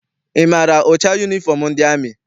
Ị maara ụcha yunifọm ndị amị?